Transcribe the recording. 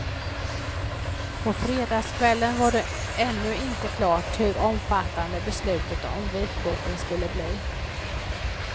På fredagskvällen var det ännu inte klart hur omfattande beslutet om vitboken skulle bli.